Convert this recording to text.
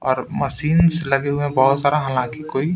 और मशीनस लगे हुए बहुत सारा हालांकि कोई--